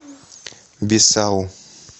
бисау